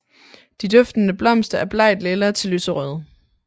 De duftende blomster er blegtlilla til lyserøde